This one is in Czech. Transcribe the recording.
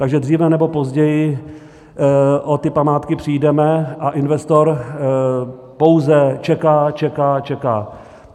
Takže dříve nebo později o ty památky přijdeme a investor pouze čeká, čeká, čeká.